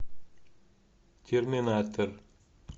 терминатор